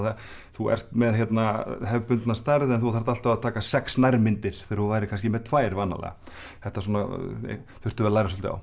þú ert með hefðbundna stærð en þú þarft alltaf að taka sex nærmyndir þegar þú værir kannski með tvær vanalega þetta svona þurftum við að læra svolítið á